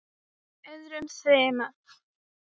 öðrum þyrma.